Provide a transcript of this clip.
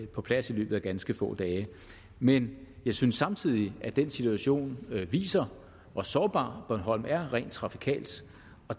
på plads i løbet af ganske få dage men jeg synes samtidig at den situation viser hvor sårbar bornholm er rent trafikalt